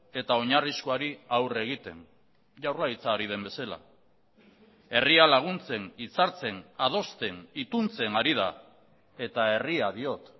eta oinarrizkoari aurre egiten jaurlaritza ari den bezala herria laguntzen hitzartzen adosten ituntzen ari da eta herria diot